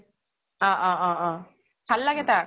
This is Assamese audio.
অ অ অ অহ। ভাল লাগে তাক।